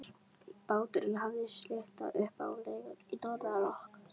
Báturinn hafði slitnað upp af legunni í norðanroki.